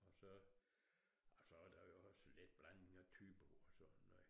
Og så ej så var der jo også lidt blanding af thybo og sådan ikke